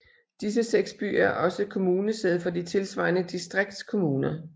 Disse seks byer er også kommunesæde for de tilsvarende distriktskommuner